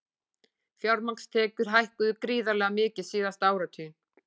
Fjármagnstekjur hækkuðu gríðarlega mikið síðasta áratuginn